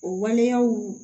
O waleyaw